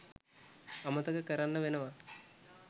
අමතක කරන්න වෙනව.